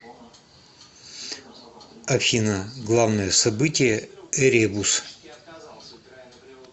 афина главное событие эребус